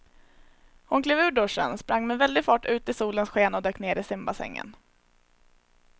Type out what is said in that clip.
Hon klev ur duschen, sprang med väldig fart ut i solens sken och dök ner i simbassängen.